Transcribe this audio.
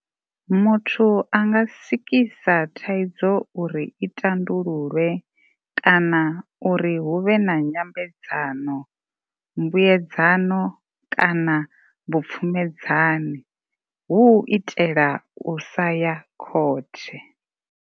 Muthu a nga sikisa thaidzo uri i tandululwe, kana uri hu vhe na nyambedzano, mbuedzano kana vhupfumedzani, hu u itela u sa ya khothe.